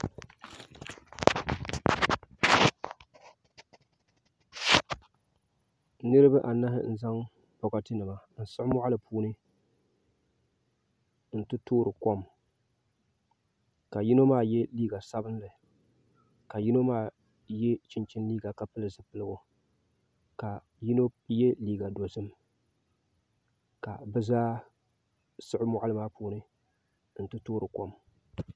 niriba anahi n-zaŋ bɔkatinima n-siɣi mɔɣili puuni nti toori kom ka yino maa ye liiga sabilinli ka yino maa ye chinchini liiga ka pili zipiligu ka yino ye liiga dozim ka bɛ zaa siɣi mɔɣili maa puuni nti toori kom